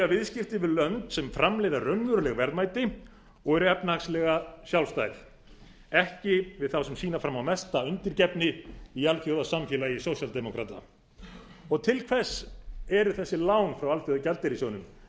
viðskipti við lönd sem framleiða raunveruleg verðmæti og eru efnahagslega sjálfstæð ekki við á sem sýna fram á mesta undirgefni í alþjóðlegu samfélagi sósíaldemókrata til hvers eru þessi lán frá alþjóðagjaldeyrissjóðnum